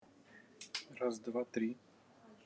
раз два три